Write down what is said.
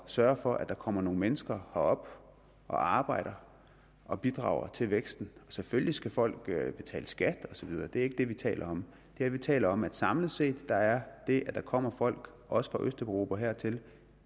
sørge for at der kommer nogle mennesker herop og arbejder og bidrager til væksten selvfølgelig skal folk betale skat og så videre det er ikke det vi taler om det vi taler om er at samlet set er det at der kommer folk også fra østeuropa hertil